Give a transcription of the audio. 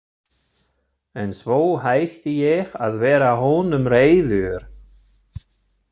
En svo hætti ég að vera honum reiður.